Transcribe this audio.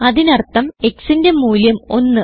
അതിനർഥം xന്റെ മൂല്യം 1